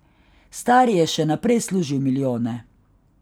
Stari je še naprej služil milijone.